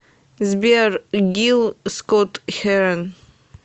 сбер гил скот херон